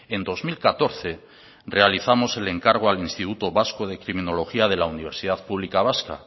en dos mil catorce realizamos el encargo al instituto vasco de criminología de la universidad pública vasca